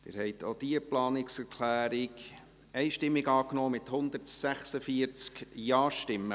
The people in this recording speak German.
Sie haben auch diese Planungserklärung einstimmig angenommen, mit 146 Ja-Stimmen.